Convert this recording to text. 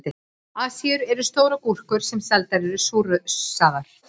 Asíur eru stórar gúrkur sem seldar eru súrsaðar.